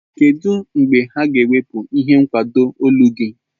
Kedu mgbe ha ga-ewepụ ihe nkwado olu gị?